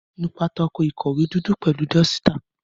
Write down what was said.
Nú pátákó ìkọ̀wé dúdú pẹ̀lú dọ́sítà.